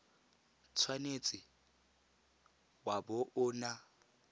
tshwanetse wa bo o na